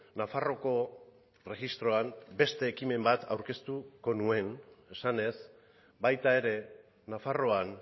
nafarroako erregistroan beste ekimen bat aurkeztuko nuen esanez baita ere nafarroan